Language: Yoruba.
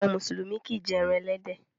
Àwọn mùsùlùmí kìí jẹ ẹran ẹlẹ́dẹ̀.